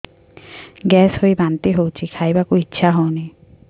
gas ହୋଇ ବାନ୍ତି ହଉଛି ଖାଇବାକୁ ଇଚ୍ଛା ହଉନି